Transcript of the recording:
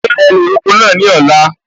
Ṣe ẹ lè roko náà ní ọ̀la?